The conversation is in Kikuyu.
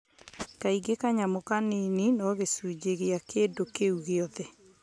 Kaingĩ kanyamũ kanini no gĩcunjĩ gĩa kĩndũ kĩu gĩothe.